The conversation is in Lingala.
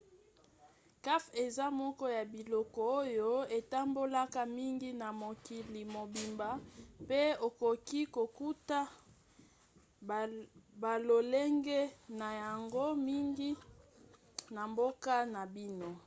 kafe eza moko ya biloko oyo etambolaka mingi na mokili mobimba pe okoki kokuta balolenge na yango mingi na mboka na bino